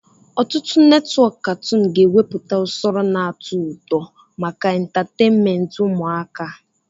Ọtụtụ netwọk katoon ga-ewepụta usoro na-atọ ụtọ maka entatènméntị ụmụaka